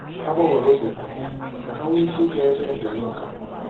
Ha gbanwere oge ha ka ha nwee ike gaa ebe njem uka.